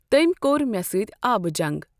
تمۍ کوٚر مےٚ ستۍ آبہٕ جنٛگ۔